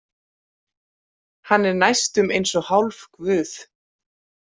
Hann er næstum eins og hálfguð.